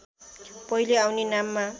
पहिले आउने नाममा